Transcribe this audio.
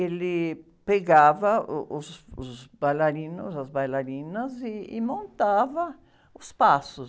Ele pegava uh, os, os bailarinos, as bailarinas, e montava os passos.